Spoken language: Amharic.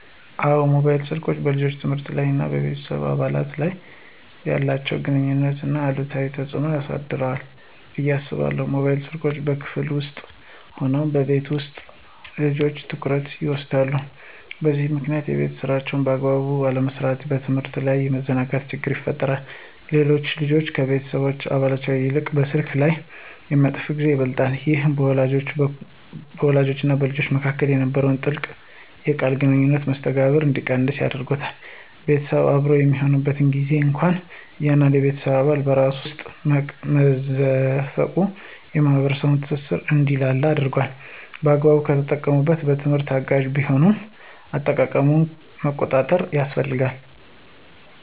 አዎን፣ ሞባይል ስልኮች በልጆች የትምህርት ላይ እና ከቤተሰብ አባላት ጋር ባላቸው ግንኙነት ላይ አሉታዊ ተጽዕኖ አሳድሯል ብዬ አስባለሁ። ሞባይል ስልኮች በክፍል ውስጥም ሆነ በቤት ውስጥ የልጆችን ትኩረት ይወስዳሉ፤ በዚህም ምክንያት የቤት ሥራን በአግባቡ ያለመስራትና በትምህርት ላይ የመዘናጋት ችግር ይፈጠራል። ሌላው ልጆች ከቤተሰብ አባላት ይልቅ በስልካቸው ላይ የሚያጠፉት ጊዜ ይበልጣል። ይህ በወላጆችና በልጆች መካከል የነበረውን ጥልቅ የቃል ግንኙነትና መስተጋብር እንዲቀንስ አድርጓል። ቤተሰብ አብሮ በሚሆንበት ጊዜም እንኳ እያንዳንዱ የቤተሰብ አባል በራሱ ስልክ ውስጥ መዘፈቁ የማኅበራዊ ትስስር እንዲላላ አድርጓል። በአግባቡ ከተጠቀሙበት ለትምህርት አጋዥ ቢሆንም፣ አጠቃቀሙን መቆጣጠር ያስፈልጋል።